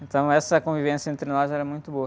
Então, essa convivência entre nós era muito boa.